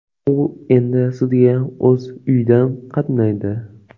U endi sudga o‘z uyidan qatnaydi.